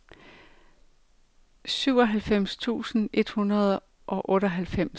syvoghalvfems tusind et hundrede og otteoghalvfems